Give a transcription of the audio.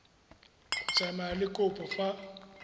go tsamaya le kopo fa